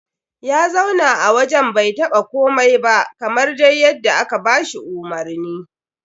Ya zauna a wajen bai taɓa komai ba kamar dai yadda aka ba shi umarni.